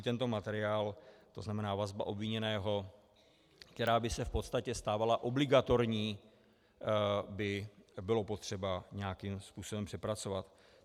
I tento materiál, to znamená vazbu obviněného, která by se v podstatě stávala obligatorní, by bylo potřeba nějakým způsobem přepracovat.